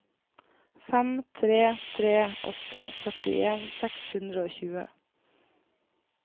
fem tre tre åtte førtien seks hundre og tjue